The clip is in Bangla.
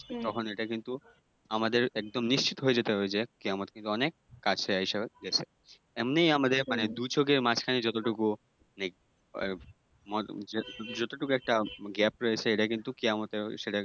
তখন এটা কিন্তু আমাদের একদম নিশ্চিত হয়ে যেতে হবে যে, কেয়ামত কিন্তু অনেক কাছে আইসা গেছে। এমনিই আমাদের মানে দুই চোখের মাঝখানে যতটুকু মানে ওই যতটুকু একটা gap রয়েছে এটা কিন্তু কেয়ামতের সেটা